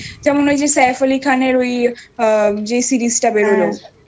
যেমন ওই saif ali khan এর যেই series টা বেরোলো হ্যাঁ হ্যাঁ